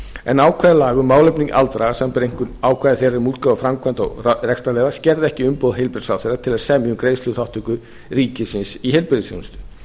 en ákvæði laga um málefni aldraðra samanber einkum ákvæði um útgáfu framkvæmda og rekstrarleyfa skerða ekki umboð heilbrigðisráðherra til að semja um greiðsluþátttöku ríkisins í heilbrigðisþjónustu